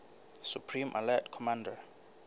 supreme allied commander